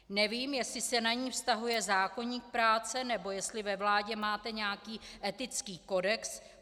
Nevím, jestli se na ni vztahuje zákoník práce, nebo jestli ve vládě máte nějaký etický kodex.